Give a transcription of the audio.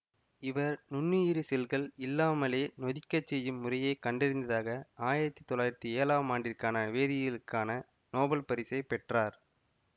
இவர் நுண்ணுயிரி செல்கள் இல்லாமலே நொதிக்கச் செய்யும் முறையை கண்டதற்காக ஆயிரத்தி தொள்ளாயிரத்தி ஏழாம் ஆண்டிற்கான வேதியியலுக்கான நோபல் பரிசை பெற்றார்